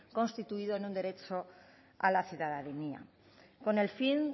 constituidos en un derecho a la ciudadanía con el fin